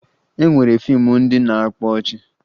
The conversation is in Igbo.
E nwere fiimu ndị na-akpa ọchị